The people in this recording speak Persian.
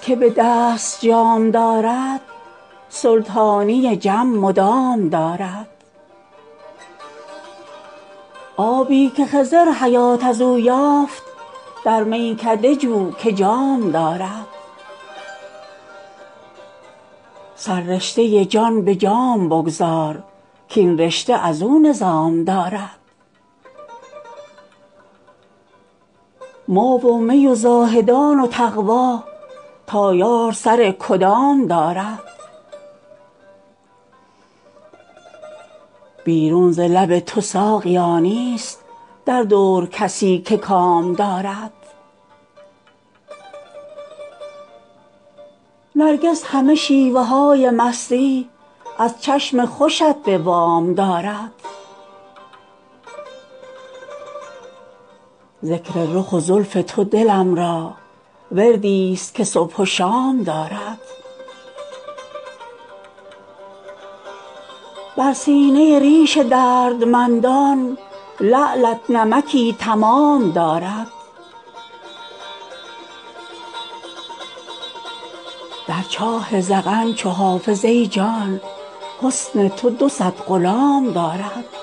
که به دست جام دارد سلطانی جم مدام دارد آبی که خضر حیات از او یافت در میکده جو که جام دارد سررشته جان به جام بگذار کاین رشته از او نظام دارد ما و می و زاهدان و تقوا تا یار سر کدام دارد بیرون ز لب تو ساقیا نیست در دور کسی که کام دارد نرگس همه شیوه های مستی از چشم خوشت به وام دارد ذکر رخ و زلف تو دلم را وردی ست که صبح و شام دارد بر سینه ریش دردمندان لعلت نمکی تمام دارد در چاه ذقن چو حافظ ای جان حسن تو دو صد غلام دارد